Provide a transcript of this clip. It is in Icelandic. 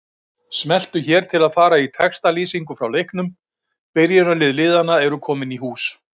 Smelltu hér til að fara í textalýsingu frá leiknum Byrjunarlið liðanna eru komin í hús.